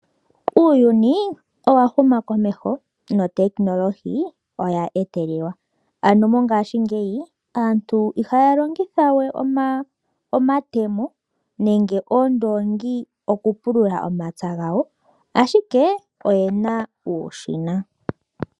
Uuyuni owa huma komeho notekinilohi oya etelelwa, ano mongaashingeyi aantu ihaya longitha we omatemo nenge oondoongi oku pulula omapya gawo, ashike oyena uushina.